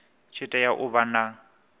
tshi tea u vha na